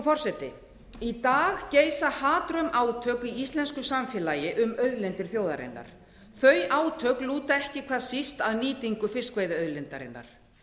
forseti í dag geisa hatrömm átök í íslensku samfélagi um auðlindir þjóðarinnar þau átök lúta ekki hvað síst að nýtingu fiskveiðiauðlindarinnar